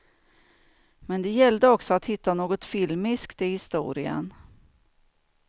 Men det gällde också att hitta något filmiskt i historien.